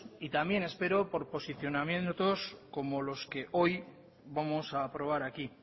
y también espero por posicionamientos como los que hoy vamos a aprobar aquí